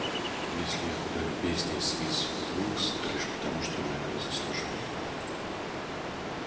если я куда любезнее с миссис уилкс то лишь потому что она этого заслуживает